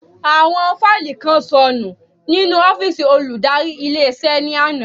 Àwọn fáílì kan sọnù nínú ọ́fìsì olùdarí ilé iṣẹ́ ní àná